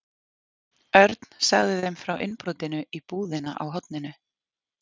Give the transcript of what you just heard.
Örn sagði þeim frá innbrotinu í búðina á horninu.